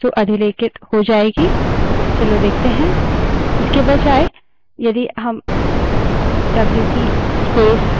चलो देखते हैं